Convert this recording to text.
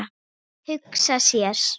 Hugsa sér.